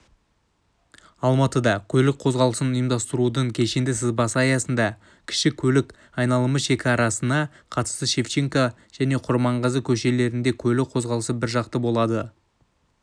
алматыда көлік қозғалысын ұйымдастырудың кешенді сызбасы аясында кіші көлік айналымы шекарасына қатысты шевченко және құрманғазы көшелерінде көлік қозғалысы біржақты болады